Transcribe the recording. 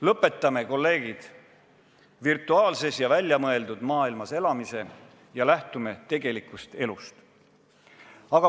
Lõpetame, kolleegid, virtuaalses ja väljamõeldud maailmas elamise ning lähtume tegelikust elust!